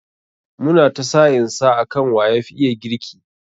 Mu na ta sa'in sa akan wa yafi iya girki.